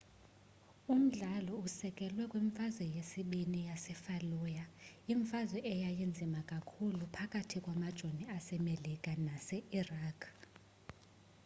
umdlalo usekelwe kwimfazwe yesibini yasefallujah imfazwe eyayinzima kakhulu phakathi kwamajoni asemerika nase-iraq